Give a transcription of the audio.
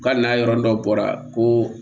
U ka n'a yɔrɔ dɔ bɔra ko